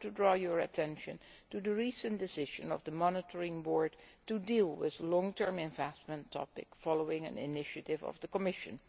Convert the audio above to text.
to draw your attention to the recent decision by the Monitoring Board to deal with the long term investment topic following an initiative by the Commission.